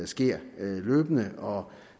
sker løbende og